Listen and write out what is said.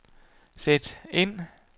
sæt ind